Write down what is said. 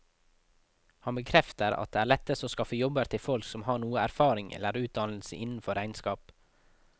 Han bekrefter at det er lettest å skaffe jobber til folk som har noe erfaring eller utdannelse innenfor regnskap.